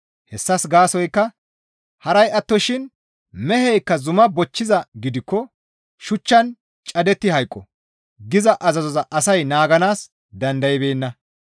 Hessas gaasoykka, «Haray attoshin meheykka zuma bochchizaa gidikko shuchchan cadetti hayqo» giza azazoza asay naaganaas dandaybeenna.